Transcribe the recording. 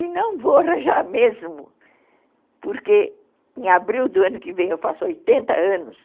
E não vou arranjar mesmo, porque em abril do ano que vem eu faço oitenta anos.